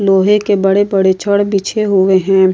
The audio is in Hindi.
लोहे के बड़े-बड़े छड़ बिछे हुए हैं।